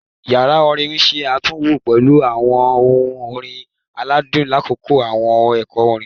Yara orin n ṣe atunwo pẹlu awọn ohun orin aladun lakoko awọn ẹkọ orin